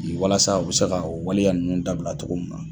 walasa u bɛ se ka waleya ninnu dabila cogo min na.